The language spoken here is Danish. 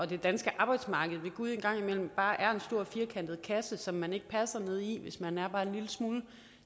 det danske arbejdsmarked er ved gud en gang imellem bare en stor firkantet kasse som man ikke passer ned i hvis man er bare en lille smule